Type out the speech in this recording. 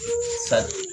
Sali